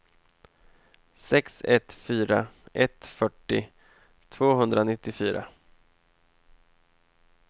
sex ett fyra ett fyrtio tvåhundranittiofyra